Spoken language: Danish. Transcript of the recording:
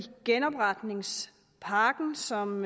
genopretningspakken som